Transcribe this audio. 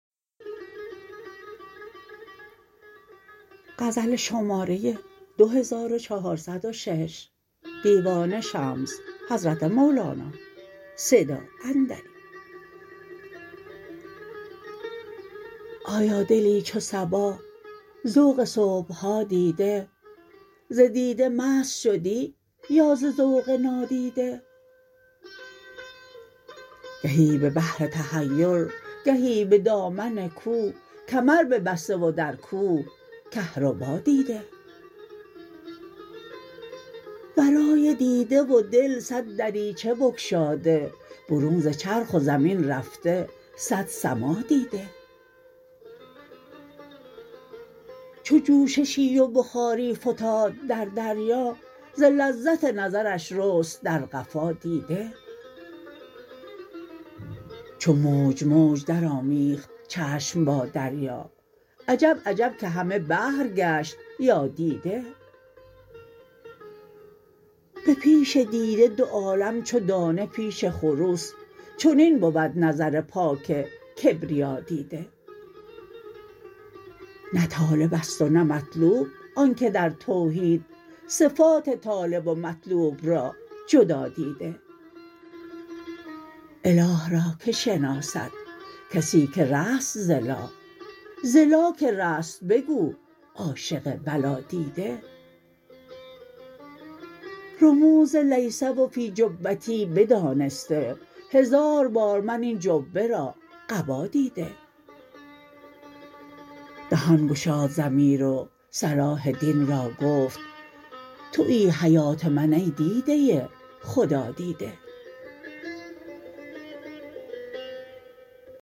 ایا دلی چو صبا ذوق صبح ها دیده ز دیده مست شدی یا ز ذوق نادیده گهی به بحر تحیر گهی به دامن کوه کمر ببسته و در کوه کهربا دیده ورای دیده و دل صد دریچه بگشاده برون ز چرخ و زمین رفته صد سما دیده چو جوششی و بخاری فتاد در دریا ز لذت نظرش رست در قفا دیده چو موج موج درآمیخت چشم با دریا عجب عجب که همه بحر گشت یا دیده به پیش دیده دو عالم چو دانه پیش خروس چنین بود نظر پاک کبریادیده نه طالب است و نه مطلوب آن که در توحید صفات طالب و مطلوب را جدا دیده اله را که شناسد کسی که رست ز لا ز لا که رست بگو عاشق بلادیده رموز لیس و فی جبتی بدانسته هزار بار من این جبه را قبا دیده دهان گشاد ضمیر و صلاح دین را گفت تویی حیات من ای دیده خدادیده